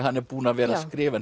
hann er búinn að vera að skrifa